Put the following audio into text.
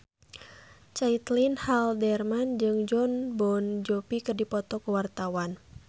Caitlin Halderman jeung Jon Bon Jovi keur dipoto ku wartawan